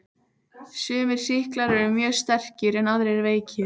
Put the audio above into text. Sumir sýklar eru mjög sterkir en aðrir veikir.